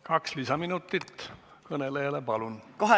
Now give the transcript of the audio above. Kaks lisaminutit kõnelejale, palun!